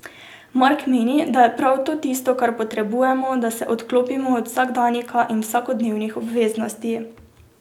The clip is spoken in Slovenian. Mark meni, da je prav to tisto, kar potrebujemo, da se odklopimo od vsakdanjika in vsakodnevnih obveznosti.